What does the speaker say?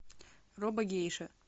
робогейша